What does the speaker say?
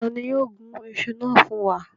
Ta ni yóò gun iṣu na fun wa?